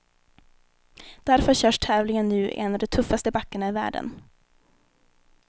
Därför körs tävlingen nu i en av de tuffaste backarna i världen.